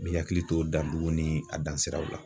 N bi akili to danduguw ni a dan siraw la